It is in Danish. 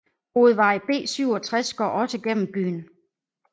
Hovedvej B67 går også gennem byen